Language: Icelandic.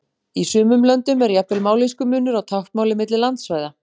Í sumum löndum er jafnvel mállýskumunur á táknmáli milli landsvæða.